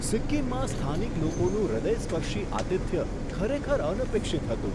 સિક્કિમમાં સ્થાનિક લોકોનું હૃદયસ્પર્શી આતિથ્ય ખરેખર અનપેક્ષિત હતું.